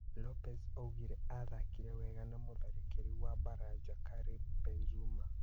Lopez augire aathakĩre wega na mũtharĩkĩri wa Baranja Karĩmi Banzuma.